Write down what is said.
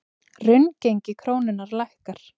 Raungengi krónunnar lækkar